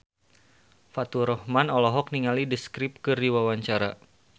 Faturrahman olohok ningali The Script keur diwawancara